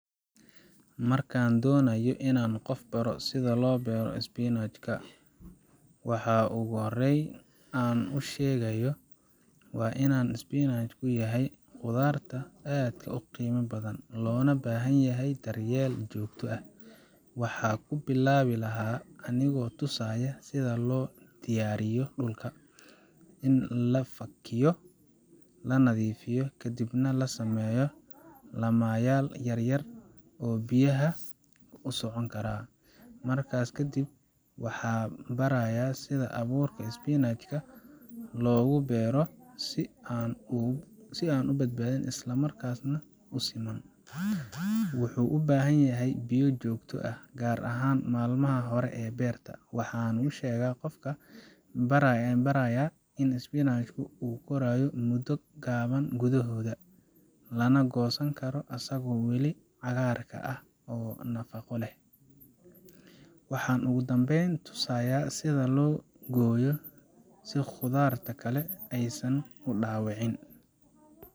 Marka aan doonayo inaan qof baro sida loo beero spinach ka, waxa ugu horreeya ee aan u sheegayo waa in spinach ka yahay khudrad aad u qiimo badan, loona baahan yahay daryeel joogto ah. Waxaan ku bilaabi lahaa anigoo tusaya sida loo diyaariyo dhulka in la fakiyo, la nadiifiyo, kadibna la sameeyo laamayaal yaryar oo biyaha u socon kara. Markaas ka dib, waxaan barayaa sida abuurka spinach ka loogu beero si aan u badnayn, isla markaana u siman. Wuxuu u baahan yahay biyo joogto ah, gaar ahaan maalmaha hore ee beerta. Waxaan u sheegaa qofka baranaya in spinach ka korayo muddo gaaban gudaheeda, lana goosan karo asagoo weli cagaarka ah oo nafaqo leh. Waxaan ugu dambeyn tusayaa sida loo gooyo si khudradda kale aysan u dhaawacmin.